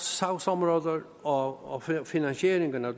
sagsområder og finansieringen af